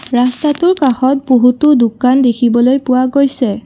ৰাস্তাটোৰ কাষত বহুতো দোকান দেখিবলৈ পোৱা গৈছে।